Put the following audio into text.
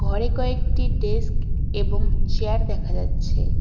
ঘরে কয়েকটি ডেস্ক এবং চেয়ার দেখা যাচ্ছে।